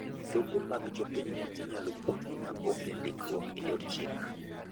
Lope mag jopinyno inyalo pogi ma onge ndikruok e yor chik.